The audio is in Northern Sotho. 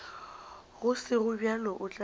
go sego bjalo o tla